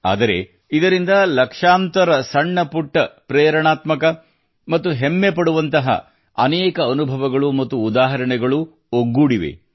ಆದರೆ ಇದರಿಂದ ಲಕ್ಷಾಂತರ ಸಣ್ಣ ಪುಟ್ಟ ಪ್ರೇರಣಾತ್ಮಕ ಮತ್ತು ಹೆಮ್ಮೆಪಡುವಂತಹ ಅನೇಕ ಅನುಭವಗಳು ಮತ್ತು ಉದಾಹರಣೆಗಳು ಒಗ್ಗೂಡಿವೆ